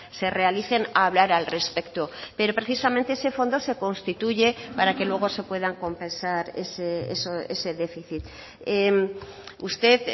se realicen a hablar al respecto pero precisamente ese fondo se constituye para que luego se puedan compensar ese déficit usted